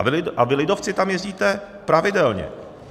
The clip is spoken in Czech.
A vy, lidovci, tam jezdíte pravidelně.